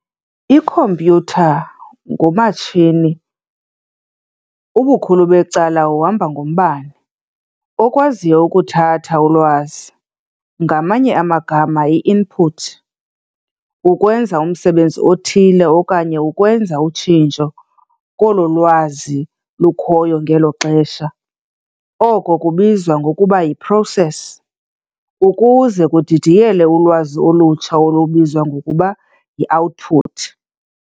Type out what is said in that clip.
Ikhompyutha ngumatshini, ubukhulu becala uhamba ngombane, okwaziyo ukuthatha ulwazi, ngamanye amagama i-input, ukwenza umsebenzi othile okanye ukwenza utshintsho kolo lwazi lukhoyo ngelo xesha, oko kubizwa ngokuba yi-process, ukuze kudidiyelwe ulwazi olutsha olubizwa ngokuba yi-output.